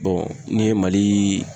ne ye mali